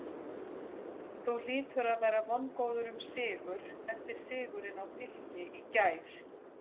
Þú hlýtur að vera vongóður um sigur eftir sigurinn á Fylki í gær?